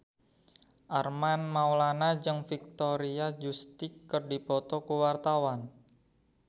Armand Maulana jeung Victoria Justice keur dipoto ku wartawan